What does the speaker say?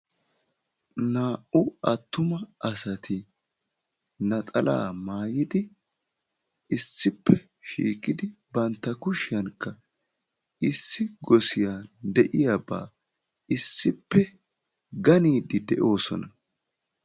Naa"u attuma asatti naxalla maayiddi issippe shiiqqidi bantta kushshikka issi gossiyan de'iyabba issippe ganiddi dee'osona.